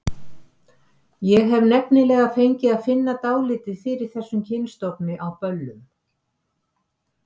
Ég hef nefnilega fengið að finna dálítið fyrir þessum kynstofni á böllum.